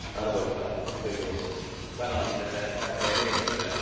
Arvoisa puhemies, kannatin tätä tärkeää mietintöä.